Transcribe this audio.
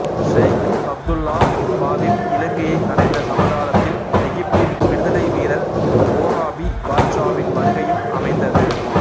செய்கு அப்துல்லாஹ் பாதீப் இலங்கையை அடைந்த சமகாலத்தில் எகிப்தின் விடுதலை வீரர் ஓராபி பாட்சாவின் வருகையும் அமைந்தது